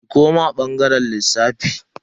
Ki koma bangaren lissafi.